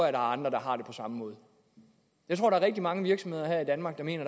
er andre der har det på samme måde jeg tror der er rigtig mange virksomheder her i danmark der mener